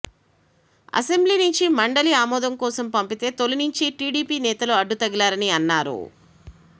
assembly నుంచి మండలి ఆమోదం కోసం పంపితే తొలి నుంచి టీడీపీ నేతలు అడ్డు తగిలారని అన్నారు